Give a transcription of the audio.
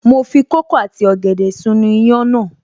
Mo fi kókò àti ọ̀gẹ̀dẹ̀ sínú iyán náà